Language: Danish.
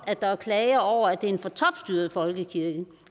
at der er klager over at det er en for topstyret folkekirke